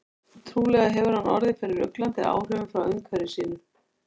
Trúlega hefur hann orðið fyrir ruglandi áhrifum frá umhverfi sínu.